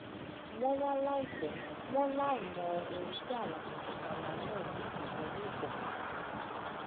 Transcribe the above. wọn wá láìpè wọn láìmọ ohun tí àwọn tọkọtaya náà ń dojúkọ ní ìkòkò